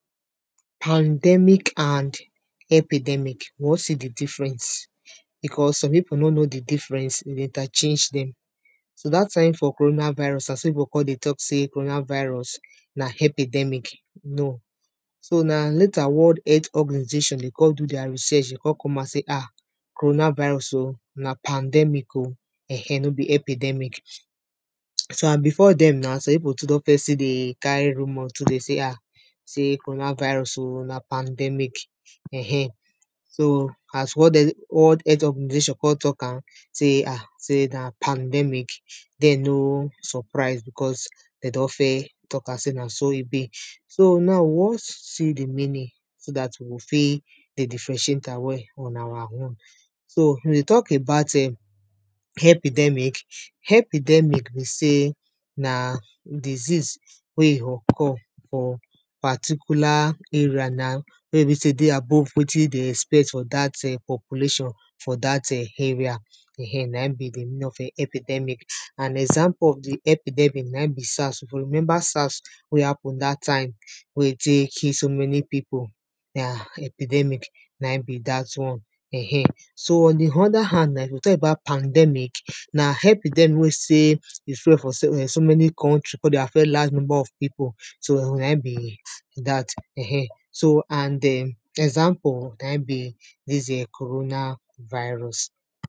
pandemic and epidermic we wan see the difference, because some pipo no know the difference de dey interchange dem. so dat time for corona virus, as pipo con dey tok sey corona virus na epidermic, no. so, na later world health organisation de con do deir research de con come outside say ah, corona virus o, na pandemic o, err ehn, no be epidermic. so, and before den na, some pipo too first still dey carry rumour to dey sey ah, sey corona virus o, na pandemic um. so, as world, world health oragnisation con tok am sey ah, sey na pandemic, de no surprise because, de don first tok am sey, na so e be. so now we wan see the meaning, so dat we go fit dey differentiate am well on awa own. so if we tok about ehn, epidermic, epidermic be sey, na disease wey occur for particular area na, wey be sey dey above wetin de expect for dat um population for dat um area um na in be the meaning of epidermic, and example of the epidermic na in be SARS, if you remember SARS wey happen dat time, wey tey kill so many pipo, na epidermic na in be dat one um. so, on the other hand na, if we tok about pandemic, na epidermic wey sey, e fall for so many country, con dey affect large number of pipo, so na in be, dat um. so and den, example na in be, dis um corona virus.